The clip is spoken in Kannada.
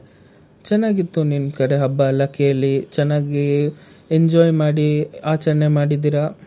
ಚೆನ್ನಾಗಿತ್ತು ನಿಮ್ ಕಡೆ ಹಬ್ಬ ಎಲ್ಲಾ ಕೇಳಿ, ಚೆನ್ನಾಗಿ enjoy ಮಾಡಿ ಆಚರಣೆ ಮಾಡಿದೀರ.